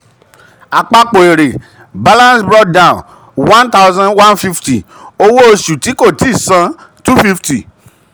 àpapọ̀ èrè balance brought down one thousand one fifty; owó oṣù tí kò tí san two fifty.